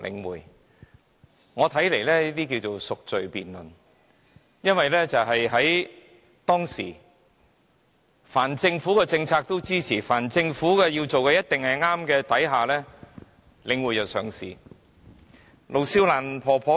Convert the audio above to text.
依我看來，這些是贖罪辯論，因為當時凡是政府的政策，他們也支持，又認為凡是政府做的，也一定是對的，令領匯得以上市。